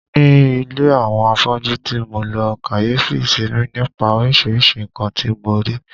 Ní ilé àwọn afọ́jú ti mo lọ, kàyéfì semi nípa oríṣiríṣi nǹkan tí mo rí.